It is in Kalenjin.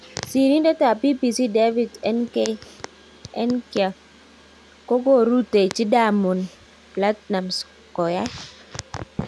Sirintet ab BBC David Nkya kokorutechi Diamond Platnumak koyai